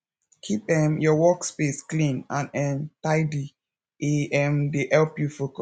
keep um your workspace clean and um tidy e um dey help you